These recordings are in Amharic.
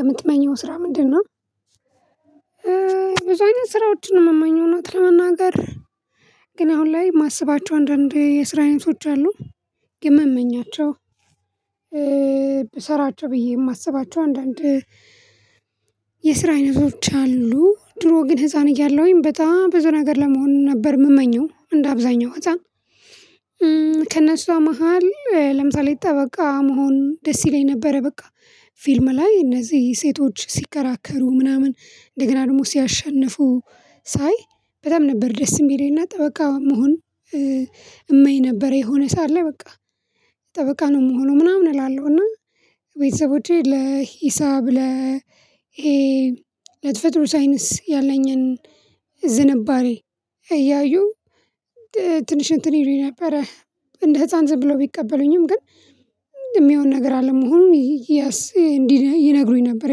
የምትመኘው ስራ ምንድነው? ብዙ አይነት ስራዎችን የምመኘው እውነት ለመናገር ግን አሁን ላይ የማስባቸው አንዳንዴ የስራ አይነቶች አሉ። የምመኛቸው። ብሰራቸው ብዬ የማስባቸው አንዳንድ የስራ አይነቶች አሉ ድሮ ግን ህፃን እያለሁኝ በጣም ብዙ ነገር ለመሆን ነበር የምመኘው እንደ አብዛኛው ህፃን። ከእነሱ መሃል ለምሳሌ ጠበቃ መሆን ደስ ይለኝ ነበረ በቃ ፊልም ላይ እነዚህ ሴቶች ሲከራከሩ ምናምን እንደገና ደግሞ ሲያሸንፉ ሳይ በጣም ነበር ደስም የሚለኝ እና ጠበቃ መሆን። እመኝ ነበረ የሆነ ሰዓት ላይ በቃ ጠበቃ ነው የምሆነው ምናምን እላለሁ እና። ቤተሰቦቼ ለሂሳብ ለተፈጥሮ ት ሳይንስ ያለኝን ዝንባሬ እያዩ ትንሽ እንትን ይሉኝ ነበረ። እንደ ህፃን ዝም ብሎ ቢቀበሉኝም ግን የሚሆን ነገር አለመሆኑን እንዲህ ይነግሩኝ ነበር።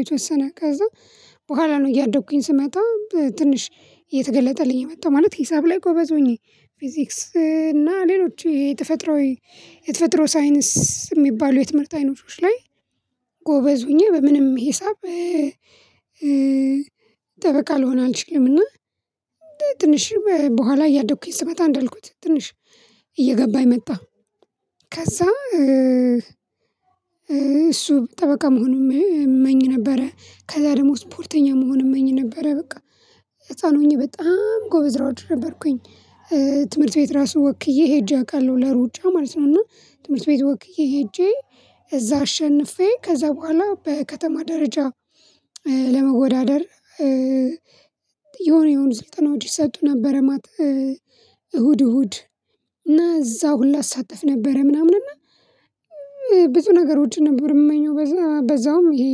የተወሰነ ከዛ በኋላ ነው እያደኩኝ ስመጣው ትንሽ እየተገለጠልኝ የመጣው። ማለት ሂሳብ ላይ ጎበዝ ሆኜ ፊዚክስ እና ሌሎች የተፈጥሮ የተፈጥሮ ሳይንስ የሚባሉ የትምህርት አይነቶች ላይ። ጎበዝ ሆኜ በምንም ሂሳብ ጠበቃ ልሆን አልችልምና። ትንሽ በኋላ እያደግኩኝ ስመጣ እንዳልኩት ትንሽ እየገባኝ መጣ። ከዛ እሱ ጠበቃ መሆኑን እመኝ ነበረ ከዛ ደግሞ ስፖርተኛ መሆን እመኝ ነበረ በቃ ህፃን ሆኜ በጣም ጎበዝ ሯጭ ነበርኩኝ። ትምህርት ቤት ራሱ ወክዬ ሄጄ አውቃለሁ ለሩጫ ማለት ነው። እና ትምህርት ቤት ወክዬ ሄጄ እዛ አሸንፌ ከዛ በኋላ በከተማ ደረጃ ለመወዳደር የሆኑ የሆኑ ስልጠናዎች ይሰጡ ነበረ ማለት። እሁድ እሁድ እና እዛ ሁላ አሳተፍ ነበረ ምናምን እና ብዙ ነገሮችን ነበር የምመኘው። በዛውም ይሄ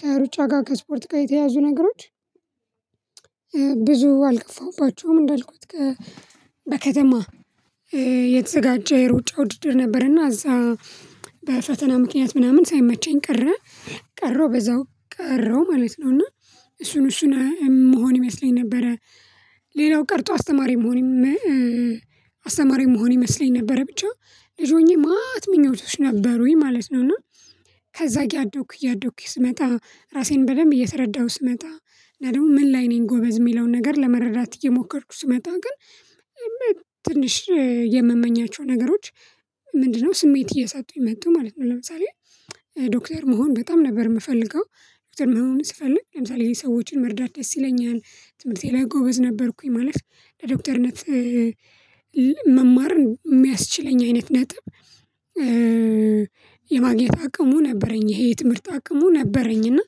ከሩጫ ጋር ከስፖርት ጋር የተያዙ ነገሮች ብዙ አልገፋሁባቸውም። እንዳልኩት በከተማ የተዘጋጀ ሩጫ ውድድር ነበርና እዛ በፈተና ምክንያት ምናምን ሳይመቸኝ ቀረ ቀረው በዛው ቀረው ማለት ነው። እና እሱን እሱን መሆን ይመስለኝ ነበረ። ሌላው ቀርቶ አስተማሪ መሆን አስተማሪ መሆን ይመስለኝ ነበረ ብቻ ልጅ ሆኜ ማት ምኞቶች ነበሩኝ ማለት ነው። እና ከዛ እያደኩኝ እያደኩኝ ስመጣ ራሴን በደንብ እየተረዳሁ ስመጣ እና ደግሞ ምን ላይ ነኝ ጎበዝ የሚለውን ነገር ለመረዳት እየሞከርኩ ስመጣ ግን። ትንሽ የምመኛቸው ነገሮች ምንድነው ስሜት እያሳጡኝ መጡ ማለት ነው። ለምሳሌ ዶክተር መሆን በጣም ነበር የምፈልገው። ዶክተር መሆን ስፈልግ ለምሳሌ ይሄን ሰዎችን መርዳት ደስ ይለኛል ያን ትምህርት የለ ጎበዝ ነበርኩኝ ማለፍ ለዶክተርነት መማርን የሚያስችለኝ አይነት ነጥብ የማግኘት አቅሙ ነበረኝ። ይሄ የትምህርት አቅሙ ነበረኝ እና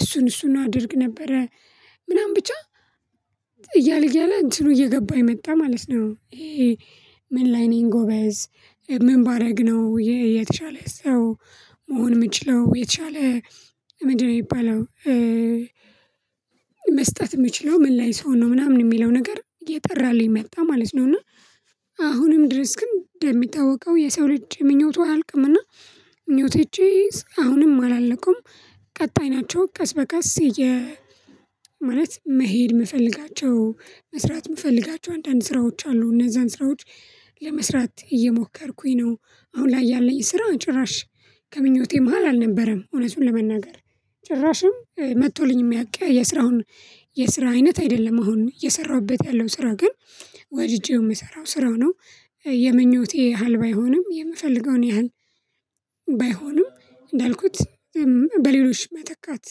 እሱን እሱን አድርግ ነበረ ምናምን ብቻ እያለ እያለ እንትኑ እየገባኝ መጣ ማለት ነው። ምን ላይነኝ ጎበዝ ምን ባደረግነው የተሻለ ሰው መሆን የምችለው የተሻለ ምንድነው የሚባለው? መስጠት የምችለው ምን ላይ ስሆን ነው ምናምን የሚለው ነገር እየጠራልኝ መጣ ማለት ነው። እና አሁንም ድረስ ግን እንደሚታወቀው የሰው ልጅ ምኞቱ አያልቅምና ምኞቴ አሁንም አላለቁም። ቀጣይ ናቸው ቀስ በቀስ ማለት መሄድ የምፈልጋቸው መስራት የምፈልጋቸው አንዳንድ ስራዎች አሉ እነዛን ስራዎች ለመስራት እየሞከርኩኝ ነው። አሁን ላይ ያለኝ ስራውን ጭራሽ ከምኞቴ መሃል አልነበረም ኦውነቱን ለመናገር። ጭራሽም መጥቶልኝ የሚያውቅ የስራውን የስራ አይነት አይደለም። አሁን እየሰራሁበት ያለው ስራ ግን ወድጄው የምሰራው ስራው ነው። የምኞቴ ያህል ባይሆንም የምፈልገውን ያህል ባይሆንም እንዳልኩት በሌሎችም መተካት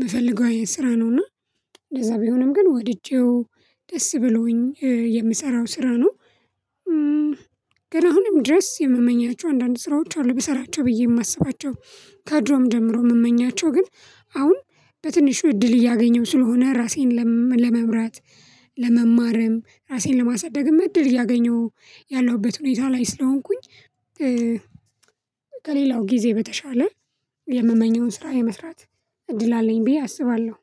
የምፈልገው ስራ ነውና። እንደዛ ቢሆንም ግን ወድጄው ደስ ብሎኝ የምሰራው ስራ ነው። ግን አሁንም ድረስ የምመኛቸው አንዳንድ ስራዎች አሉ ብሰራቸው ብዬ የማስባቸው ከድሮም ጀምሮ የምመኛቸው ግን አሁን በትንሹ እድል እያገኘሁ ስለሆነ ራሴን ለመምራት ለመማርም ራሴን ለማሳደግም እድል እያገኘሁ ያለሁበት ሁኔታ ላይ ስለሆንኩኝ። ከሌላው ጊዜ በተሻለ የምመኘውን ስራ የመስራት እድል አለኝ ብዬ አስባለሁ